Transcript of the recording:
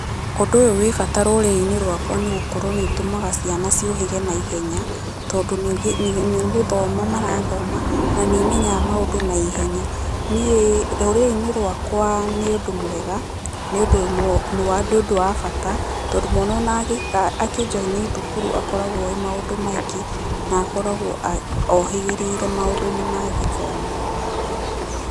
Ũndũ ũyũ wĩ bata rũrĩrĩ-inĩ rwakwa nĩ gũkorwo nĩ ũtũmaga ciana ciũhĩge naihenya, tondũ nĩ gũthoma marathoma, na nĩ imenyaga maũndũ na ihenya. Niĩ rũrĩrĩ-inĩ rwakwa nĩ ũndũ mwega, nĩ ũndũ wa bata tondũ mwana ona akĩjoini thukuru akoragwo oĩ maũndũ maingĩ na akoragwo ohĩgĩrĩire maũndũ-inĩ ma gĩthomo.